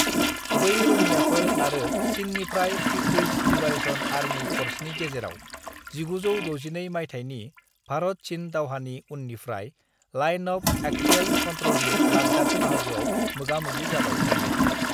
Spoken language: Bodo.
बै रौनियाफोर आरो चिननिफ्राय पिपुल्स लिबारेशन आर्मी फ'र्सनि गेजेराव 1962 माइथायनि भारत-चिन दावहानि उननिफ्राय लाइन अफ एक्सुएल कन्ट्र'लनि लाद्दाख बाहागोआव मोगा-मोगि जाबाय थायो।